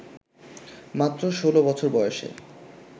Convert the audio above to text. মাত্র ষোলো বছর বয়সে